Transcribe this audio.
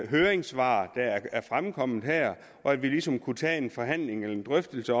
høringssvar der er fremkommet og at vi ligesom kunne tage en forhandling eller en drøftelse